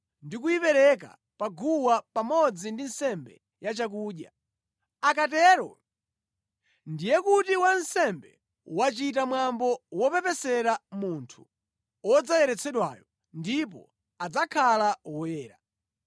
ndi kuyipereka pa guwa, pamodzi ndi nsembe yachakudya. Akatero ndiye kuti wansembe wachita mwambo wopepesera munthu wodzayeretsedwayo, ndipo adzakhala woyera.